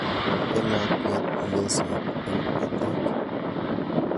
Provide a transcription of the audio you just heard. Rate lakwet lesoit eng batet.